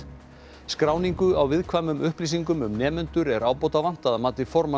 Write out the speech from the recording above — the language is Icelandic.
skráningu á viðkvæmum upplýsingum um nemendur er ábótavant að mati formanns